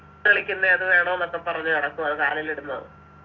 കളിക്കുന്നെ അത് വേണംന്നൊക്കെ പറഞ്ഞ് നടക്കുവാ കാലിലിടുന്നത്